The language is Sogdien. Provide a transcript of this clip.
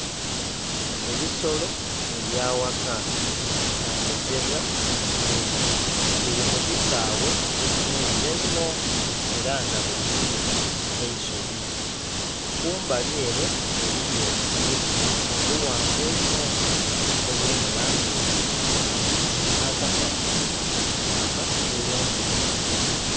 Ebisolo ebyaghaka nga byetebwa ente biri mukisaghe ekinhirira einho era nga kulya eisubi. Kumbalyere eliyo obuti obughanvu einho obuli mulangi eyakiragala nha kasanha kalikwaka bulungi inho.